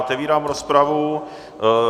Otevírám rozpravu.